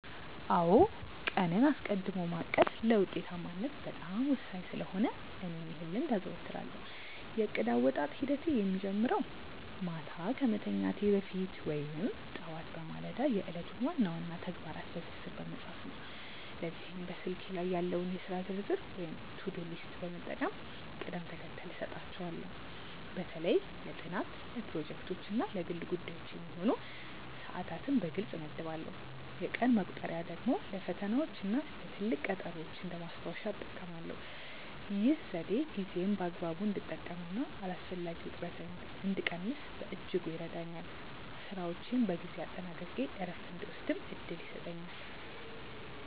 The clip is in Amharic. አዎ ቀንን አስቀድሞ ማቀድ ለውጤታማነት በጣም ወሳኝ ስለሆነ እኔም ይህን ልምድ አዘወትራለሁ። የእቅድ አወጣጥ ሂደቴ የሚጀምረው ማታ ከመተኛቴ በፊት ወይም ጠዋት በማለዳ የዕለቱን ዋና ዋና ተግባራት በዝርዝር በመጻፍ ነው። ለዚህም በስልኬ ላይ ያለውን የሥራ ዝርዝር ወይም ቱዱ ሊስት በመጠቀም ቅደም ተከተል እሰጣቸዋለሁ። በተለይ ለጥናት፣ ለፕሮጀክቶች እና ለግል ጉዳዮች የሚሆኑ ሰዓታትን በግልጽ እመድባለሁ። የቀን መቁጠሪያ ደግሞ ለፈተናዎችና ለትልቅ ቀጠሮዎች እንደ ማስታወሻ እጠቀማለሁ። ይህ ዘዴ ጊዜዬን በአግባቡ እንድጠቀምና አላስፈላጊ ውጥረትን እንድቀንስ በእጅጉ ይረዳኛል። ስራዎቼን በጊዜ አጠናቅቄ እረፍት እንድወስድም እድል ይሰጠኛል።